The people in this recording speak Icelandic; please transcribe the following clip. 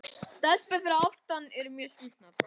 Hann man það ekki.